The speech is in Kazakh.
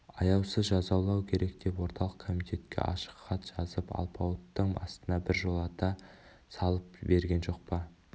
аяусыз жазалау керек деп орталық комитетке ашық хат жазып алпауыттың астына біржолата салып берген жоқ па